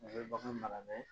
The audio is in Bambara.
A bɛ bagan mara dɛ